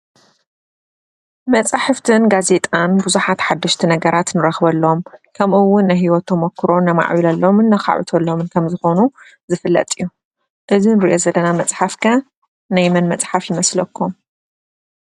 መፅሓፍትን ጋዜጣን ቡዙሓት ሓደሽቲ ነገራት ንረክበሎም፡፡ ከምኡ እውን ናይ ሂወት ተመክሮን ነማዕብሎሎምን ነካዕብተሎምን ከም ዝኮኑ ዝፍለጥ እዩ፡፡ እዚ ንሪኦ ዘለና መፅሓፍ ከ ናይ መን መፅሓፍ ይመስለኩም?